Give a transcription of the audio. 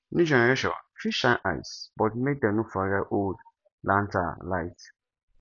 new generation fit shine eyes but make dem no forget old lantern light